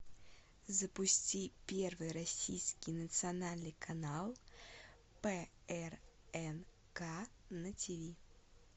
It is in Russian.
запусти первый российский национальный канал прнк на ти ви